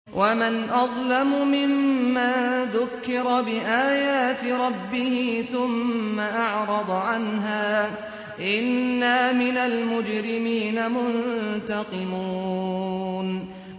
وَمَنْ أَظْلَمُ مِمَّن ذُكِّرَ بِآيَاتِ رَبِّهِ ثُمَّ أَعْرَضَ عَنْهَا ۚ إِنَّا مِنَ الْمُجْرِمِينَ مُنتَقِمُونَ